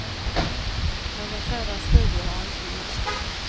Någon sådan studie har inte gjorts.